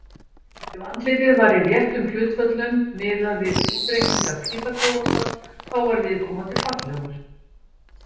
Ef andlitið var í réttum hlutföllum, miðað við útreikninga Pýþagórasar, þá var viðkomandi fallegur.